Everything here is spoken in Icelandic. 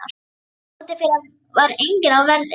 Þar úti fyrir var enginn á verði.